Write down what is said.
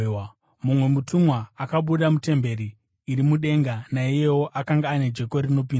Mumwe mutumwa akabuda mutemberi iri mudenga, naiyewo akanga ane jeko rinopinza.